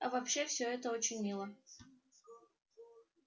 а вообще всё это очень мило